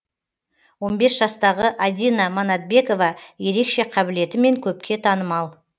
он бес жастағы адина манатбекова ерекше қабілетімен көпке танымал